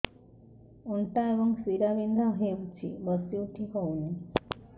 ଅଣ୍ଟା ଏବଂ ଶୀରା ବିନ୍ଧା ହେଉଛି ବସି ଉଠି ହଉନି